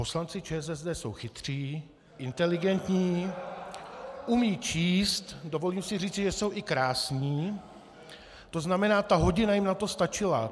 Poslanci ČSSD jsou chytří , inteligentní, umějí číst, dovolím si říci, že jsou i krásní, to znamená, ta hodina jim na to stačila.